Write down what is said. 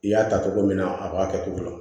I y'a ta cogo min na a b'a kɛ cogo la